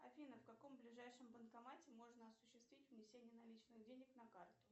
афина в каком ближайшем банкомате можно осуществить внесение наличных денег на карту